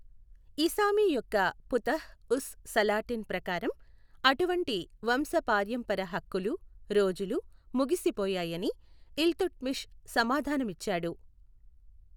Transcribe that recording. ఇసామి యొక్క ఫుతుహ్ ఉస్ సలాటిన్ ప్రకారం, అటువంటి వంశ పారంపర్య హక్కులు రోజులు ముగిసిపోయాయని ఇల్తుట్మిష్ సమాధానమిచ్చాడు.